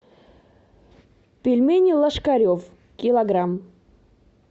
пельмени ложкарев килограмм